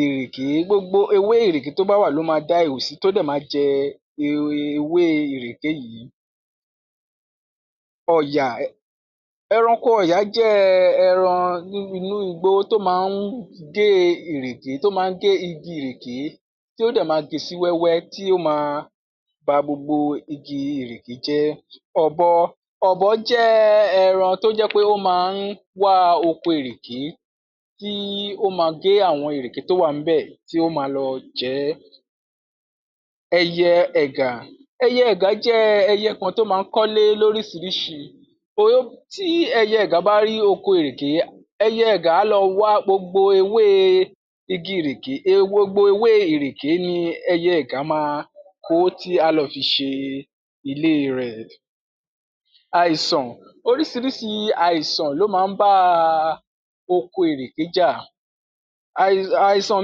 ìrèké, gbogbo ewé ìrèké tó bá wà ló ma dá ihò sí ló dẹ̀ ma jẹ ewe ewé ìrèké yìí. Ọ̀yà, ẹranko Ọ̀yà jẹ́ ẹranko ní inú igbó tó máa ń gé ìrèké tó máa ń gé igi ìrèké tí ó dẹ̀ ma gé e sí wẹ́wẹ́ tí ó ma ba gbogbo igi ìrèké jẹ́. Ọ̀bọ, Ọ̀bọ jẹ́ ẹran tó jẹ́ pé ó máa ń wá oko ìrèké tí ó ma gé àwọn ìrèké tó wà ńbẹ̀ tí ó ma lọ jẹ ẹ́. Ẹyẹ ẹ̀gà, ẹyẹ ẹ̀gà jẹ́ ẹyẹ kan tó máa ń kọ́lé lóríṣìíríṣìí, ó, tí ẹyẹ ẹ̀gà bá rí oko ìrèké, ẹyẹ ẹ̀gà á lọ wá gbogbo ewé igi ìrèké, e, gbogbo ewé ìrèké ni ẹyẹ ẹ̀gà ma kó tí á lọ fi ṣe ilé rẹ̀. Àìsàn, oríṣìíríṣìí ló máa ń bá oko ìrèké jà. Àì, àìsàn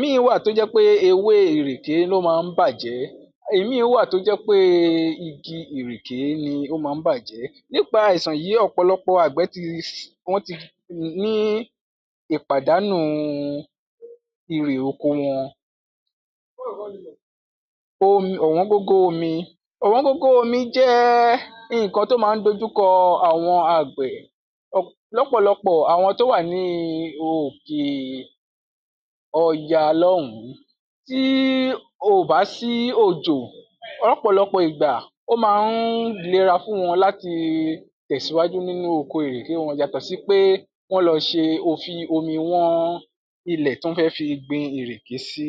míì wà tó jẹ́ pé ewé ìrèké ló máa ń bàjẹ́. Ìmíì wà tó jẹ́ pé igi ìrèké ni ó máa ń bàjẹ́. Nípa àìsàn yìí, ọ̀pọ̀lọpọ̀ àgbẹ̀ ti, wọ́n ti ní ìpàdánu irè oko wọn. Omi, ọ̀wọ́ngógó omi. Ọ̀wọ́ngógó omi jẹ́ nǹkan tó máa ń dojúkọ àwọn àgbẹ̀, lọ́pọ̀lọpọ̀ àwọn tó wà ní òkè ọya lọ́hùn-ún. Tí ò bá sí òjò lọ́pọ̀lọpọ̀ ìgbà, ó máa ń lera fún wọn láti tẹ̀síwájú nínú oko ìrèké wọn yàtọ̀ sí pé wọ́n ló ṣe, o fi omi wọ́n ilẹ̀ tí wọ́n fẹ́ gbin ìrèké sí.